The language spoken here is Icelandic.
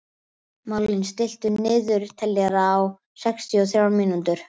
Marlín, stilltu niðurteljara á sextíu og þrjár mínútur.